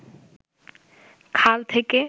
খাল থেকে